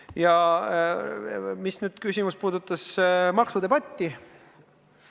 Ja nüüd küsimus, mis puudutas maksudebatti.